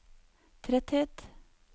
tretthet